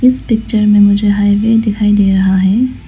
इस पिक्चर में मुझे हाईवे दिखाई दे रहा है।